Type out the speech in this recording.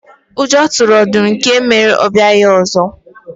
Ụjọ tụrụ ọdụm nke mere na ọ abịaghị ọzọ.